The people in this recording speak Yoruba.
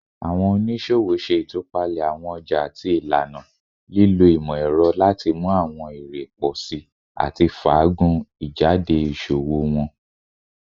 Awọn oniṣowo ṣe itupalẹ awọn ọja ati ilana, lilo imọ-ẹrọ lati mu awọn ere pọ si ati faagun ijade iṣowo wọn